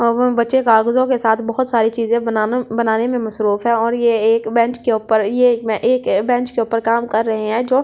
और वो बच्चे कागजों के साथ बहुत सारी चीज़े बना बनाने में मशरुफ़ है और ये एक अ बेंच के ऊपर ये मे एक बेंच के ऊपर काम कर रहे है जो --